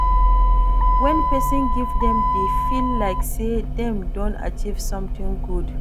When person give dem dey feel like sey dem don achieve something good